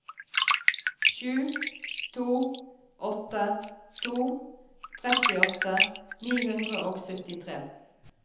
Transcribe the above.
sju to åtte to trettiåtte ni hundre og syttitre